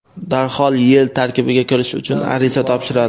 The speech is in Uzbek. darhol YeI tarkibiga kirish uchun ariza topshiradi.